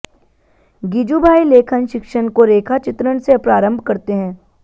गिजुभाई लेखन शिक्षण को रेखा चित्रण से प्रारंभ करते हैं